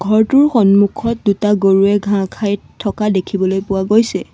ঘৰটোৰ সন্মূখত দুটা গৰুৱে ঘাঁহ খাই থকা দেখিবলৈ পোৱা গৈছে।